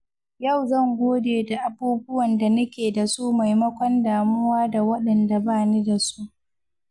Yau zan gode da abubuwan da nake da su maimakon damuwa da waɗanda ba ni da su.